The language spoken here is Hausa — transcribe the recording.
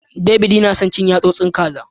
David yana son cin yasosin kaza.